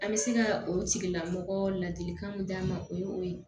An bɛ se ka o tigila mɔgɔ ladilikan mun d'a ma o ye o ye